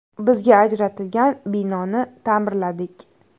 Bizga ajratilgan binoni ta’mirladik.